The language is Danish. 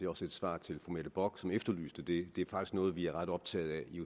også et svar til fru mette bock som efterlyste det det er faktisk noget vi er ret optaget af i